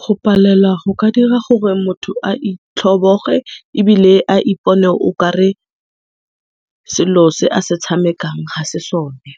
Go palela go ka dira gore motho a itlhoboge ebile a ipone okare selo se a se tshamekang hase sone,